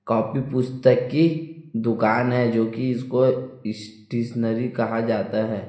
काफी पुस्तकी दुकान है जो कि इसको इस्टीशनरी कहा जाता है।